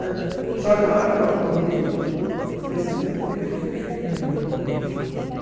Né só que na hora que eu acordei, eu pensei, meu Deus, o que foi feito da minha mãe?